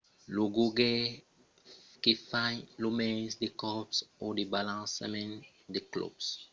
lo jogaire que fa lo mens de còps o de balançaments del club per terminar lo percors ganha